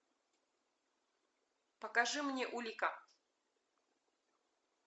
покажи мне улика